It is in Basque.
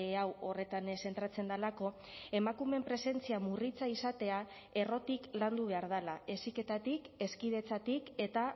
hau horretan zentratzen delako emakumeen presentzia murritza izatea errotik landu behar dela heziketatik hezkidetzatik eta